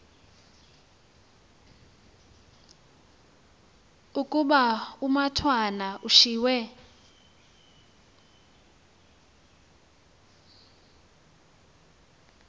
ukuba umatwana ushiywe